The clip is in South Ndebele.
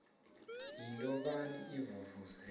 yinto bani ivuvuzela